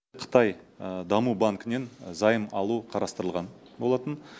қытай даму банкінен займ алу қарастырылған болатын